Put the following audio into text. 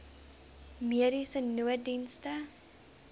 mediese nooddienste